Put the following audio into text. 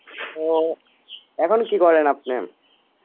ও এখন কি করেন আপনি?